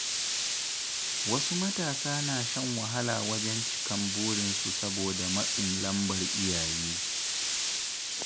Wasu matasa na shan wahala wajen cika burinsu saboda matsin lambar iyaye.